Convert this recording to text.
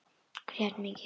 Grét mikið.